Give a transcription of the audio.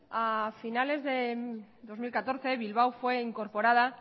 a finales de dos mil catorce bilbao fue incorporada